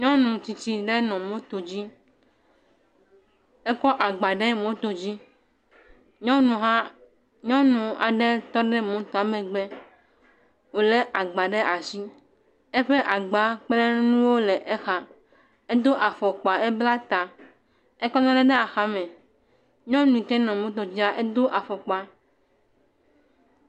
Nyɔnu tsitsi ɖe nɔ moto dzi, ekɔ agba ɖe moto dzi, nyɔnu hã, nyɔnu aɖe hã tɔ ɖe motoa megbe, wòlé agba ɖe asi, eƒe agba kple nuwo le exa, edo afɔkpa, ebla ta, ekɔ nuɖe ɖe axa me, nyɔnu yike nɔ moto dzia, edo afɔkpa.